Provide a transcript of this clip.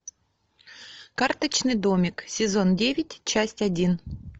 карточный домик сезон девять часть один